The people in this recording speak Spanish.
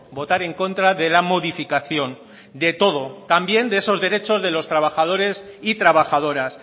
votar en contra de la modificación de todo también de esos derechos de los trabajadores y trabajadoras